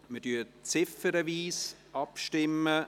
Wir stimmen ziffernweise ab.